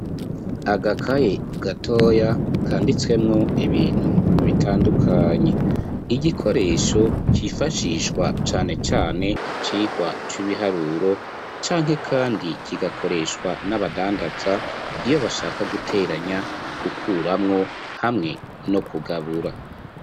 Agakaye gatoya kanditswemo ibintu bitandukanye .Igikoresho cifashishwa cane cane mu cigwa c'ibiharuro canke kandi kigakoreshwa n'abadandaza ,iyo bashaka guteranya , gukuramwo hamwe no kugabura